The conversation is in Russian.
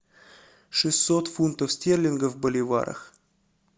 шестьсот фунтов стерлингов в боливарах